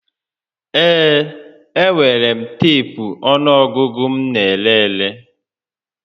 Ee, enwere m teepu ọnụọgụgụ m n'ere ere